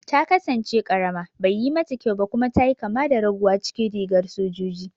Ta kasance karama, baiyi mata kyau ba kuma ta yi kama da raguwa cikin rigar sojoji.